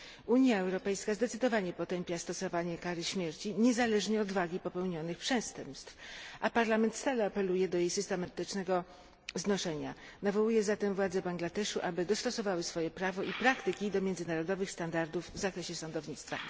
Unia Europejska zdecydowanie potępia stosowanie kary śmierci niezależnie od wagi popełnionych przestępstw, a Parlament stale apeluje do jej systematycznego znoszenia. Nawołuję zatem władze Bangladeszu, aby dostosowały swoje prawo i praktyki do międzynarodowych standardów w zakresie sądownictwa.